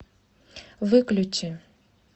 выключи